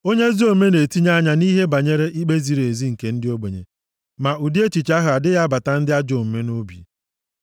Onye ezi omume na-etinye anya nʼihe banyere ikpe ziri ezi nke ndị ogbenye, ma ụdị echiche ahụ adịghị abata ndị ajọ omume nʼobi.